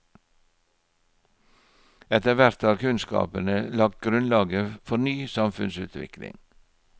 Etter hvert har kunnskapene lagt grunnlaget for ny samfunnsutvikling.